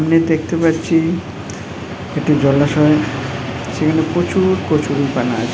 --খানে দেখতে পাচ্ছি একটি জলাশয় সেখানে প্রচুউউর কচুরি পানা--